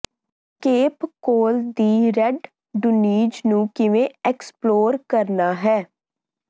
cape ਕੋਲ ਦੀ red dunes ਨੂੰ ਕਿਵੇਂ ਐਕਸਪਲੋਰ ਕਰਨਾ ਹੈ